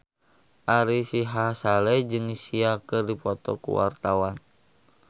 Ari Sihasale jeung Sia keur dipoto ku wartawan